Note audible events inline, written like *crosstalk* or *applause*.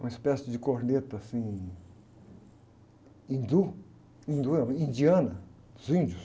uma espécie de corneta, assim, hindu, hindu é, *unintelligible* indiana, dos índios.